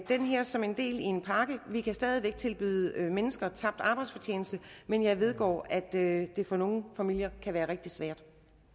det her som en del af en pakke vi kan stadig væk tilbyde mennesker tabt arbejdsfortjeneste men jeg vedgår at det for nogle familier kan være rigtig svært